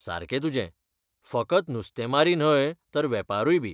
सारकें तुजें! फकत नुस्तेमारी न्हय तर वेपारूयबी.